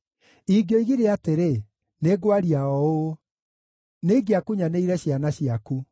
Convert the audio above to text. Ingĩoigire atĩrĩ, “Nĩngwaria o ũũ,” nĩingĩakunyanĩire ciana ciaku.